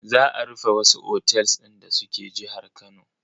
Za a rufe wasu otels din da suke jihar Kano.